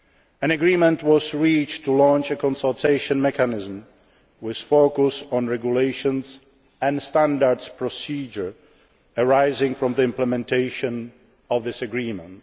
Agreement. An agreement was reached to launch a consultation mechanism with a focus on regulations and standard procedures arising from the implementation of this